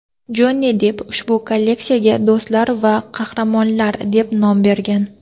Jonni Depp ushbu kolleksiyaga "Do‘stlar va qahramonlar" deb nom bergan.